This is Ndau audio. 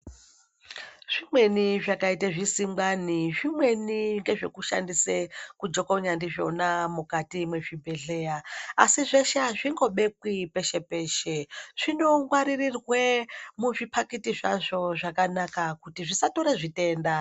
Zvimweni zvakaite zvisingwane zvimweni ngezvekushandise kujokonya ndizvona mukati mezvibhedhlera asi zveshe azvingobekwi peshe peshe zvinongwaririrwe muzvipakiti zvazvo zvakanaka kuti zvisatore zvitenda.